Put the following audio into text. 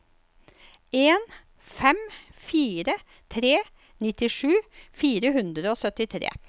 en fem fire tre nittisju fire hundre og syttitre